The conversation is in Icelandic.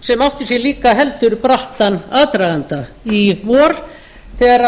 sem átti sér líka heldur brattan aðdraganda í vor þegar